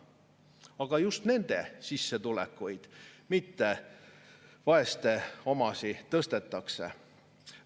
Aga just nende sissetulekuid, mitte vaeste omasid, tõstetakse.